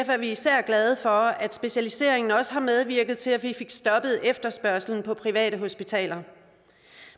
er vi især glade for at specialiseringen også har medvirket til at vi fik stoppet efterspørgselen på privathospitaler